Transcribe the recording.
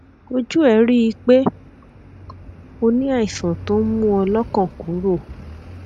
ojú ẹ rí i pé o ní àìsàn tó ń mú ọ lọkàn kúrò